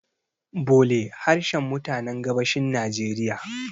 bole harshen mutanen gabashin najeriya